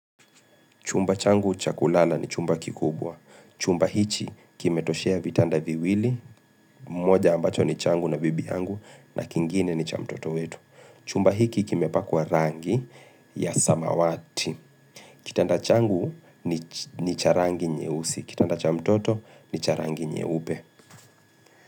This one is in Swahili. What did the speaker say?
Chumba changu cha kulala ni chumba kikubwa. Chumba hichi kimetoshea vitanda viwili, moja ambacho ni changu na bibi yangu na kingine ni cha mtoto wetu. Chumba hiki kimepakwa rangi ya samawati. Kitanda changu ni cha rangi nyeusi. Kitanda cha mtoto ni cha rangi nye ube.